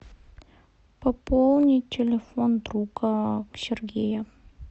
пополнить телефон друга сергея